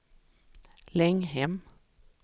Länghem